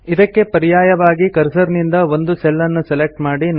ಇದಕ್ಕೆ ಪರ್ಯಾಯವಾಗಿ ಕರ್ಸರ್ ನಿಂದ ಒಂದು ಸೆಲ್ ನ್ನು ಸೆಲೆಕ್ಟ್ ಮಾಡಿ